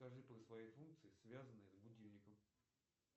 скажи про свои функции связанные с будильником